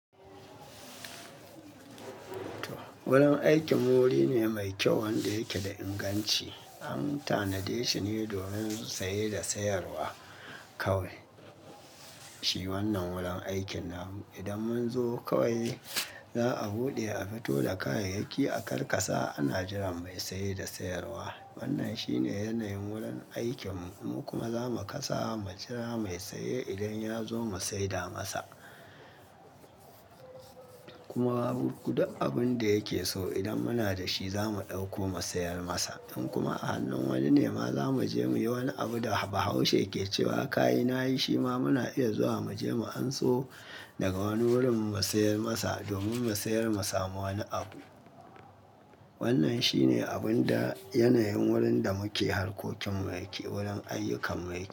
Wurin aikin mu wuri ne mai kyau wanda yake da inganci. An tanade shi ne domin saye da sayarwa kawai. Shi wannan wurin aikin namu. Idan mun zo kawai za a buɗe a fito da kayayyaki a karkasa ana jiran mai saye da sayarwa. Wannan shine yanayin wurin aikin mu kuma za mu kasa mu jira mai saye idan ya zo mu saida masa. Kuma duk abin da yake so idan muna da shi za mu ɗauko mu sayar masa. In kuma a hannun wani ne ma za mu je muyi wani abu da bahaushe ke cewa "ka yi na yi" shi ma muna iya zuwa mu je mu anso daga wani wurin mu sayar masa domin mu sayar mu samu wani abu. Wannan shi ne abun da yanayin wurin da muke harkokin mu yake, wurin ayyukan mu yake.